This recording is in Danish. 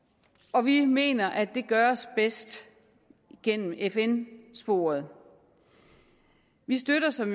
og vi mener at det gøres bedst gennem fn sporet vi støtter som